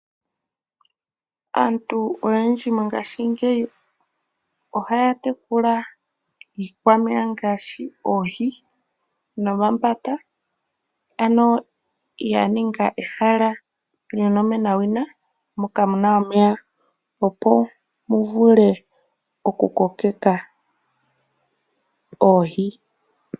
Aantu oyendji mongaashingeyi ohaya tekula iikwameya ngaashi oohi nomambaka, ano ya ninga ehala lyonomenawina moka muna omeya opo mu vule oku kokeka oohi.